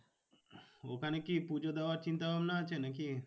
ওখানে কি পুজো দেওয়ার চিন্তা ভাবনা আছে নাকি?